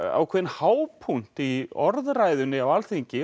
ákveðinn hápunkt í orðræðunni á Alþingi